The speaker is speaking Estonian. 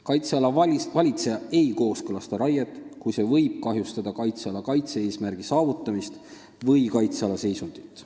Kaitseala valitseja ei kooskõlasta raiet, kui see võib kahjustada kaitseala kaitse-eesmärgi saavutamist või kaitseala seisundit.